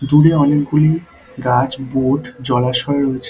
দূরে অনেকগুলি গাছ বোট জলাশয় রয়েছে।